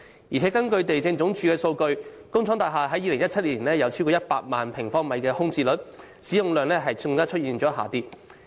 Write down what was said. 此外，根據地政總署數據，工廠大廈在2017年有超過100萬平方米的空置率，使用量更出現下跌。